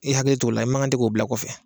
I hakili t'o la i mankan tɛ k'o bila kɔfɛ